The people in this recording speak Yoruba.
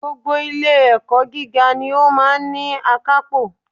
Gbogbo ilé ẹ̀kọ́ gíga ni ó máa ní akápò